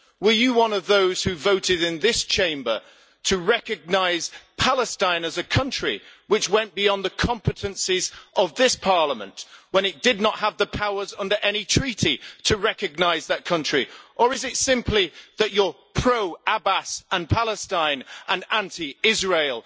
Were you one of those who voted in this Chamber to recognise Palestine as a country, which went beyond the competencies of this Parliament when it did not have the powers under any treaty to recognise that country, or is it simply that you are pro-Abbas and Palestine and anti Israel?